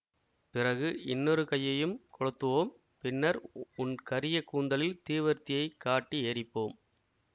பிறகு இன்னொரு கையையும் கொளுத்துவோம் பின்னர் உன் கரிய கூந்தலில் தீவர்த்தியைக் காட்டி எரிப்போம்